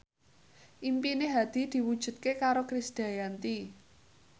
impine Hadi diwujudke karo Krisdayanti